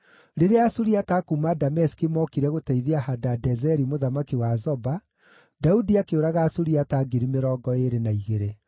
Rĩrĩa Asuriata a kuuma Dameski mookire gũteithia Hadadezeri mũthamaki wa Zoba, Daudi akĩũraga Asuriata ngiri mĩrongo ĩĩrĩ na igĩrĩ.